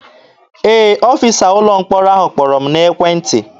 Ee, ọfịsa ụlọ mkpọrọ ahụ kpọrọ m n'ekwentị.